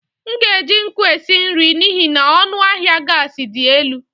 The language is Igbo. M ga-eji nkụ esi nri n'ihi na ọnụ ahịa gas dị elu.